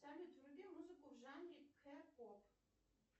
салют вруби музыку в жанре к поп